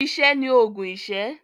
Iṣẹ́ ni òògùn iṣẹ́.